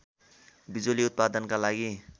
बिजुली उत्पादनका लागि